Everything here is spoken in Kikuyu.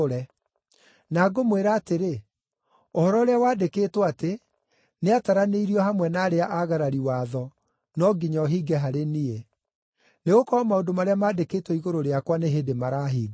Na ngũmwĩra atĩrĩ, ũhoro ũrĩa wandĩkĩtwo atĩ, ‘Nĩataranĩirio hamwe na arĩa aagarari watho’ no nginya ũhinge harĩ niĩ. Nĩgũkorwo maũndũ marĩa maandĩkĩtwo igũrũ rĩakwa nĩ hĩndĩ marahinga.”